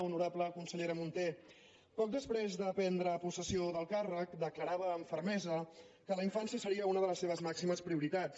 honorable consellera munté poc després de prendre possessió del càrrec declarava amb fermesa que la infància seria una de les seves màximes prioritats